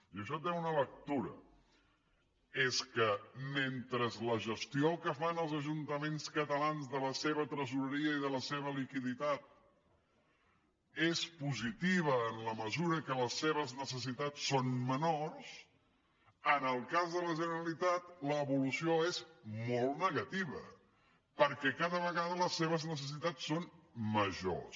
i això té una lectura és que mentre la gestió que fan els ajuntaments catalans de la seva tresoreria i de la seva liquiditat és positiva en la mesura que les seves necessitats són menors en el cas de la generalitat l’evolució és molt negativa perquè cada vegada les seves necessitats són majors